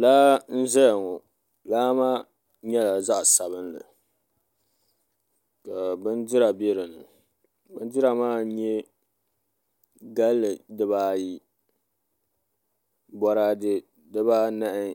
Laa n-zaya ŋɔ laa nyɛla zaɣ’sabinli ka bindira be din ni bindira maa n-nyɛ galli dibaayi bɔraade dibaanahi